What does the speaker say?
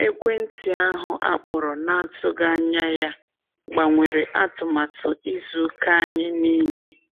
Ekwentị ahụ akpọrọ na-atụghị anya ya gbanwere atụmatụ izu ụka anyị niile.